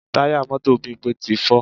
Táyà mọ́tò Bímpé ti fọ́